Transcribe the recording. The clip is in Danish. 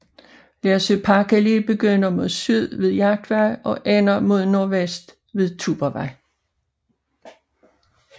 Lersø Parkallé begynder mod syd ved Jagtvej og ender mod nordvest ved Tuborgvej